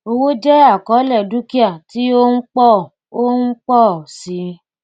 owó jẹ àkọọlẹ dúkìá tí ó ń pọ ó ń pọ sí i